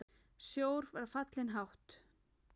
Sjór var fallinn hátt.